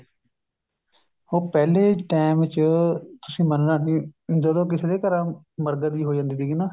ਉਹ ਪਹਿਲੇ time ਚ ਤੁਸੀਂ ਮੰਨਣਾ ਨਹੀਂ ਜਦੋ ਕਿਸੇ ਦੇ ਘਰਾਂ ਮਰਗਤ ਜੀ ਹੋ ਜਾਂਦੀ ਤੀਗੀ ਨਾ